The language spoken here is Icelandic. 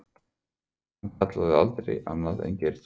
Hann kallaði hana aldrei annað en Geirþrúði.